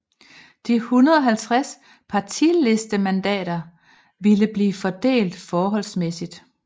De 150 partilistemandater ville bliver fordelt forholdsmæssigt